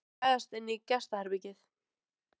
Eina ráðið var að gægjast inn í gestaherbergið.